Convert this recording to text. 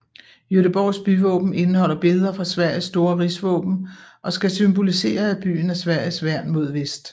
Göteborgs byvåben indeholder billeder fra Sveriges store rigsvåben og skal symbolisere at byen er Sveriges værn mod vest